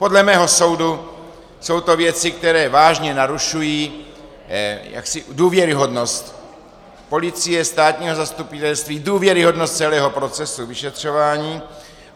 Podle mého soudu jsou to věci, které vážně narušují důvěryhodnost policie, státního zastupitelství, důvěryhodnost celého procesu vyšetřování.